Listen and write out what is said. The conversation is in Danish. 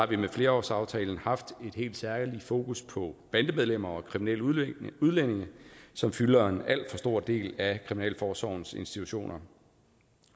vi med flerårsaftalen haft et helt særligt fokus på bandemedlemmer og kriminelle udlændinge som fylder en alt for stor del af kriminalforsorgens institutioner